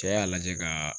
Cɛ y'a lajɛ kaaa